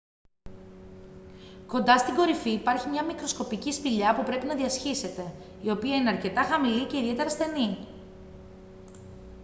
κοντά στην κορυφή υπάρχει μια μικροσκοπική σπηλιά που πρέπει να διασχίσετε η οποία είναι αρκετά χαμηλή και ιδιαίτερα στενή